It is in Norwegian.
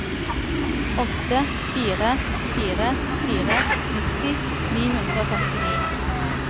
åtte fire fire fire nitti ni hundre og femtini